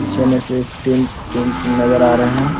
पीछे में सिर्फ टिन टिन नज़र आ रहे है।